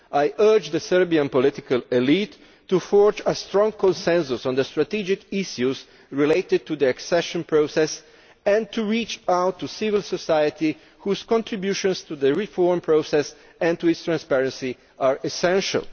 I urge the Serbian political elite to forge a strong consensus on the strategic issues related to the accession process and to reach out to civil society, whose contributions to the reform process and to its transparency are essential.